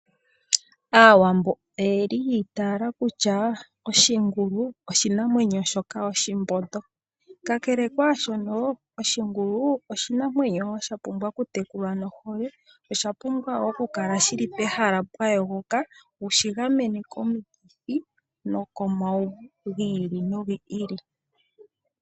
Aawambo oyeli yi itaala kutya oshingulu oshinanwenyo oshihethi ka kele kwaashono osha pumbwa okutekulwa nohole. Osha pumbwa oku kala pehala pwa yogoka wushi gamene komauvu gi ili nogi ili.